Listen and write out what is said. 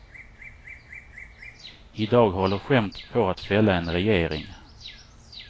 I dag håller skämtet på att fälla en regering.